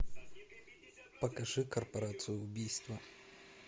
покажи корпорацию убийства